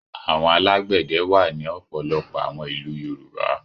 Àwọn alágbẹ̀dẹ wà ní ọ̀pọ̀lọpọ̀ àwọn ìlú Yorùbá.